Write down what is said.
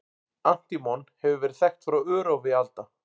Antímon hefur verið þekkt frá örófi alda.